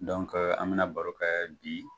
an bɛna baro kɛ bi